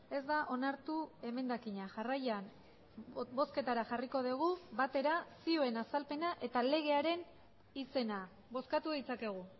ez da onartu emendakina jarraian bozketara jarriko dugu batera zioen azalpena eta legearen izena bozkatu ditzakegu